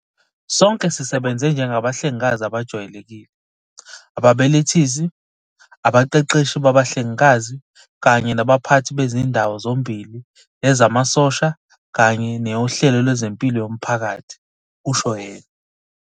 "Sonke sisebenze njengabahlengikazi abajwayelekile, ababelethisi, abaqeqeshi babahlengikazi kanye nabaphathi bezindawo zombili yezamasosha kanye neyohlelo lwezempilo yomphakathi," kusho yena.